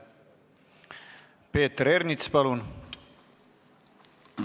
Peeter Ernits, palun!